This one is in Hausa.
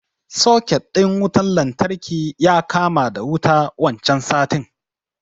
Soket ɗin wutan lantarki ya kama da wuta wancan satin